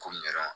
Ko